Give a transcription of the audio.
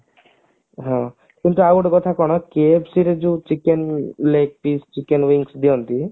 ହଁ କିନ୍ତୁ ଆଉ ଗୋଟେ କଥା କଣ KFC ର ଯୋଉ chicken leg pic chicken wings ଦିଅନ୍ତି